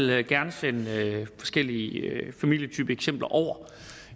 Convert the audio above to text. jeg vil gerne sende forskellige familietypeeksempler over